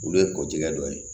Olu ye kojigɛ dɔ ye